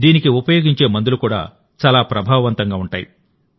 దీనికి ఉపయోగించే మందులు కూడా చాలా ప్రభావవంతంగా ఉంటాయి